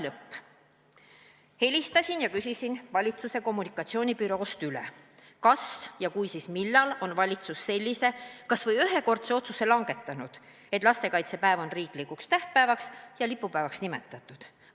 Helistasin ja küsisin valitsuse kommunikatsioonibüroost üle, millal on valitsus sellise kas või ühekordse otsuse langetanud, et lastekaitsepäev on riiklikuks tähtpäevaks ja lipupäevaks nimetatud.